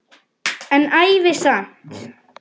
En ævi samt.